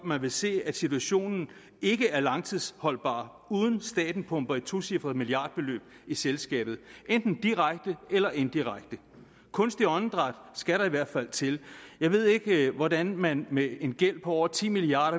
man vil se at situationen ikke er langtidsholdbar uden at staten pumper et tocifret milliardbeløb i selskabet enten direkte eller indirekte kunstigt åndedræt skal der i hvert fald til jeg ved ikke hvordan man med en gæld på over ti milliard